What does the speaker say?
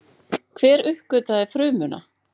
Hver uppgötvaði frumuna?